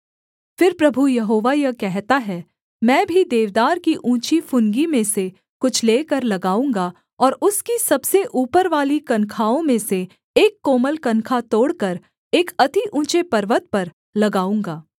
फिर प्रभु यहोवा यह कहता है मैं भी देवदार की ऊँची फुनगी में से कुछ लेकर लगाऊँगा और उसकी सबसे ऊपरवाली कनखाओं में से एक कोमल कनखा तोड़कर एक अति ऊँचे पर्वत पर लगाऊँगा